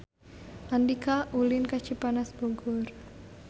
Andika ulin ka Cipanas Bogor